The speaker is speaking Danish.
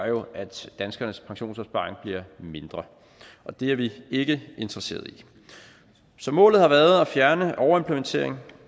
jo at danskernes pensionsopsparinger bliver mindre og det er vi ikke interesserede i så målet har været at fjerne overimplementering